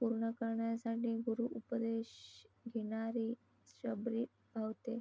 पूर्ण करण्यासाठी गुरु उपदेश घेणारी शबरी भावते.